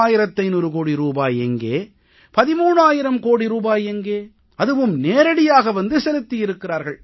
30003500 கோடி ரூபாய் எங்கே 13000 கோடி எங்கே அதுவும் நேரடியாக வந்து செலுத்தியிருக்கிறார்கள்